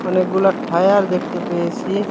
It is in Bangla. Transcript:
অনেকগুলা ঠায়ার দেখতে পেয়েছি।